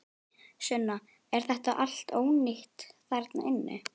Sunna: Er þetta allt ónýtt þarna inni?